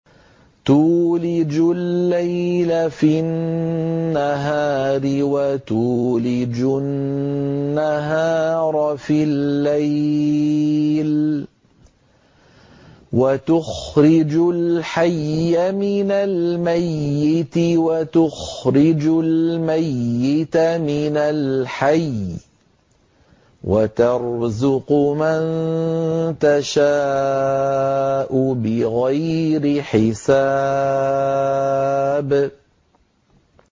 تُولِجُ اللَّيْلَ فِي النَّهَارِ وَتُولِجُ النَّهَارَ فِي اللَّيْلِ ۖ وَتُخْرِجُ الْحَيَّ مِنَ الْمَيِّتِ وَتُخْرِجُ الْمَيِّتَ مِنَ الْحَيِّ ۖ وَتَرْزُقُ مَن تَشَاءُ بِغَيْرِ حِسَابٍ